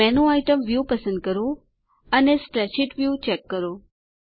menu item view પસંદ કરો અને સ્પ્રેડશીટ વ્યૂ ચેક કરો